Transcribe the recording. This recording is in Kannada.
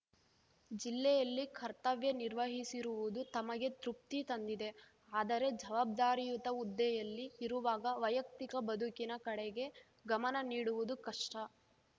ಜಿಲ್ಲೆಯಲ್ಲಿ ಕರ್ತವ್ಯ ನಿರ್ವಹಿಸಿರುವುದು ತಮಗೆ ತೃಪ್ತಿ ತಂದಿದೆ ಆದರೆ ಜವಾಬ್ದಾರಿಯುತ ಹುದ್ದೆಯಲ್ಲಿ ಇರುವಾಗ ವೈಯಕ್ತಿಕ ಬದುಕಿನ ಕಡೆಗೆ ಗಮನ ನೀಡುವುದು ಕಷ್ಟ